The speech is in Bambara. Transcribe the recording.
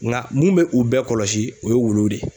Nka mun bɛ u bɛɛ kɔlɔsi o ye wuluw de ye.